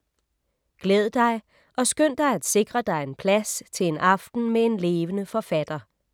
Glæd dig og skynd dig at sikre dig en plads til en aften med en levende fortæller.